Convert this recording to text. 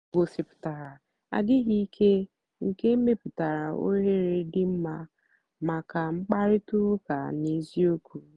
ha gòsíputàra àdì́ghị́ ìké nkè mepùtàra òhèrè dị́ mma maka mkpáịrịtà ụ́ka n'ézìòkwù.